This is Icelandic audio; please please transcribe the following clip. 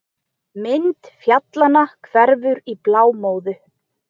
Mynd fjallanna hverfur í blámóðu.